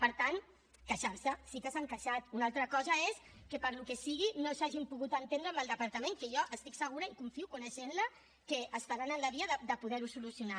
per tant queixar se sí que s’han queixat una altra cosa és que per al que sigui no s’hagin pogut entendre amb el departament que jo estic segura i confio coneixent la que estaran en la via de poder ho solucionar